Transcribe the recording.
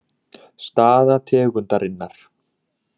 Staða tegundarinnar